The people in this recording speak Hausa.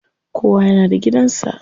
Kowa yana da gidan sa.